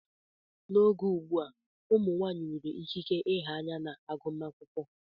N'oge ugbu a, ụmụ nwanyị nwere ikike nha anya na agụmakwụkwọ.